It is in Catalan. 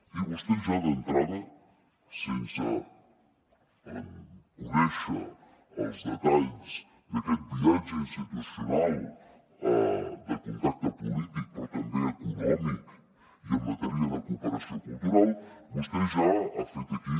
i vostè ja d’entrada sense conèixer els detalls d’aquest viatge institucional de contacte polític però també econòmic i en matèria de cooperació cultural vostè ja ha fet aquí